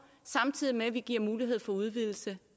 samtidig med at vi giver mulighed for udvidelse